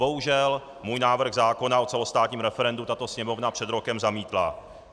Bohužel můj návrh zákona o celostátním referendu tato Sněmovna před rokem zamítla.